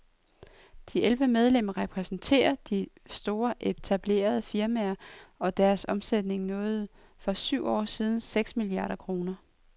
De elleve medlemmer repræsenterer de store og etablerede firmaer, og deres omsætning nåede for syv år siden seks milliarder kroner.